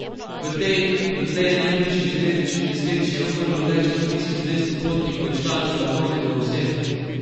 V tej dotlej najhujši železniški nesreči je umrlo več kot tisoč dvesto potnikov in članov vlakovnega osebja.